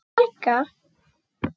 Ég heiti Helga!